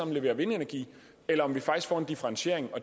leverer vindenergi eller om vi faktisk får en differentiering